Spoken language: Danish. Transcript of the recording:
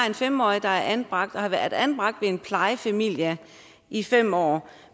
en fem årig der er anbragt og har været anbragt hos en plejefamilie i fem år